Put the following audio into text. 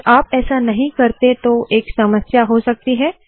अगर आप ऐसा नहीं करते तो एक समस्या हो सकती है